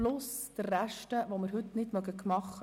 Hinzu kommt der Rest, den wir heute nicht bewältigen können.